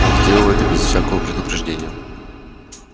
он сделал это без всякого предупреждения даже не зарычал